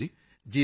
ਮੰਜ਼ੂਰ ਜੀ ਜੀ ਸਰ